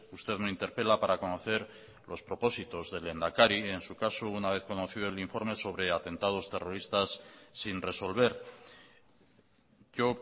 usted me interpela para conocer los propósitos del lehendakari en su caso una vez conocido el informe sobre atentados terroristas sin resolver yo